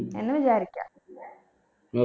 എന്ന് വിചാരിക്ക